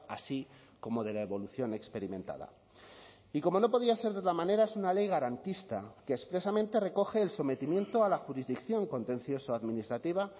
así como de la evolución experimentada y como no podía ser de otra manera es una ley garantista que expresamente recoge el sometimiento a la jurisdicción contencioso administrativa